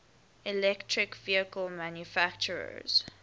electric vehicle manufacturers